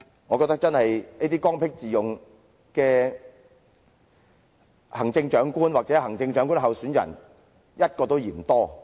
我覺得，這種剛愎自用的行政長官或行政長官候選人一個都嫌多。